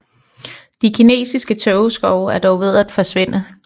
De kinesiske tågeskove er dog ved at forsvinde